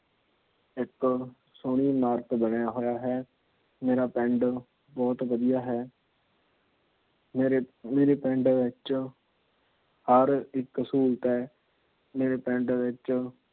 ਇੱਕ ਸੋਹਣੀ ਇਮਾਰਤ ਬਣਿਆ ਹੋਇਆ ਹੈ। ਮੇਰਾ ਪਿੰਡ ਬਹੁਤ ਵਧੀਆ ਹੈ। ਮੇਰੇ ਪਿੰਡ ਵਿੱਚ ਹਰ ਇੱਕ ਸਹੂਲਤ ਹੈ। ਮੇਰੇ ਪਿੰਡ ਵਿੱਚ